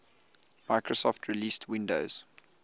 microsoft released windows